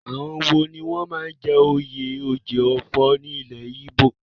Àwọn wo ni wọ́n máa ń jẹ oyè Oji Ofo ní ilẹ̀ Ìgbò?